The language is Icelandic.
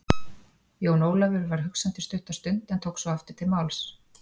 Jón Ólafur var hugsandi stutta stund en tók svo aftur til máls.